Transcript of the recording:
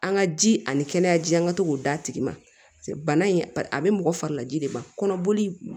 An ka ji ani kɛnɛya ji an ka to k'o d'a tigi ma paseke bana in a bɛ mɔgɔ fari laji de ma kɔnɔboli